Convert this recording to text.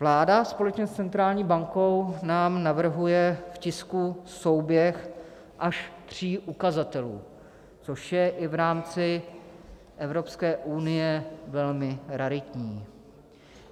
Vláda společně s centrální bankou nám navrhuje v tisku souběh až tří ukazatelů, což je i v rámci Evropské unie velmi raritní.